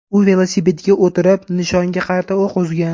U velosipedga o‘tirib, nishonga qarata o‘q uzgan.